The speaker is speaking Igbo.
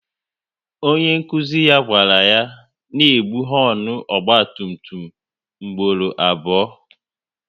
Onye nkụzi ya gwara ya n'egbu honu ọgba tum tum mgboro abụọ